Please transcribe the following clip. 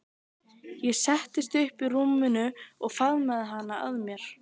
Ég settist upp í rúminu og faðmaði hana að mér.